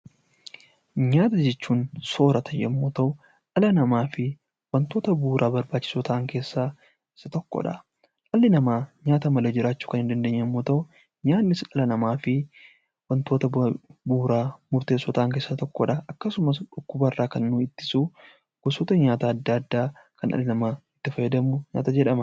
Nyaata jechuun soorata yemmuu ta'u dhala namaafi wantoota bu'uura barbaachisoo ta'an keessaa isa tokkodha. Dhalli namaa nyaata malee jiraachuu kan hin dandeenye yemmuu ta'u nyaannis dhala namaafi wantoota bu'uuraa murteessoo ta'an keessaa tokkodha. Akkasumas dhukkubarraa kan nu ittisu gosoota nyaataa adda addaa kan dhalli namaa itti fayyadamu nyaata jedhama.